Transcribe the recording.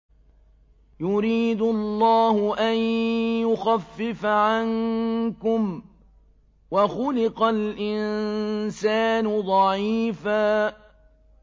يُرِيدُ اللَّهُ أَن يُخَفِّفَ عَنكُمْ ۚ وَخُلِقَ الْإِنسَانُ ضَعِيفًا